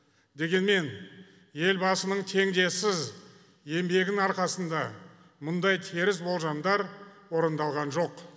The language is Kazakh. дегенмен елбасының теңдесіз еңбегінің арқасында мұндай теріс болжамдар орындалған жоқ